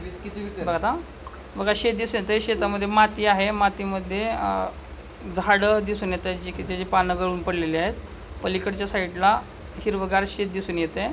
किती बी कर बग आता मगा शेत दिसत आहे शेता मधे माती आहे मातीमध्ये अह झाड दिसून येत आहे जे की त्याची पाने गळून पडलेली आहेत पलीकडच्या साइड ला हिरवगार शेत दिसून येत आहे.